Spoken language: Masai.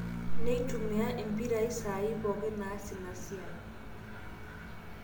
neitumia impirai saai pooki naas ina siai